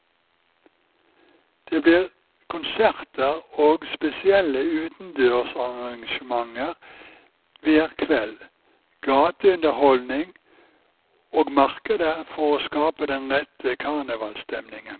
Det blir konserter og spesielle utendørsarrangementer hver kveld, gateunderholdning og markeder for å skape den rette karnevalsstemningen.